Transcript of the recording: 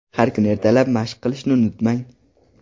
Har kuni ertalab mashq qilishni unutmang.